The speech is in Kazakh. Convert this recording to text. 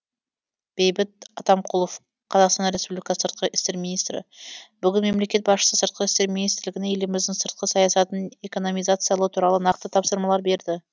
бейбіт атамқұлов қазақстан республикасы сыртқы істер министрі бүгін мемлекет басшысы сыртқы істер министрлігіне еліміздің сыртқы саясатын экономизациялау туралы нақты тапсырмалар берді